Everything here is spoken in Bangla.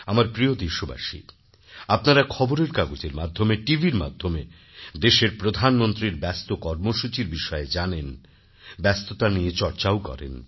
আমার প্রিয় দেশবাসী আপনারা খবরের কাগজের মাধ্যমে টিভির মাধ্যমে দেশের প্রধানমন্ত্রীর ব্যস্ত কর্মসূচির বিষয়ে জানেন ব্যস্ততা নিয়ে চর্চাও করেন